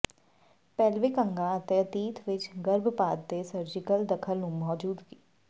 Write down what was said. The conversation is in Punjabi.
ਪੇਲਵਿਕ ਅੰਗਾਂ ਅਤੇ ਅਤੀਤ ਵਿਚ ਗਰਭਪਾਤ ਤੇ ਸਰਜੀਕਲ ਦਖਲ ਦੀ ਮੌਜੂਦਗੀ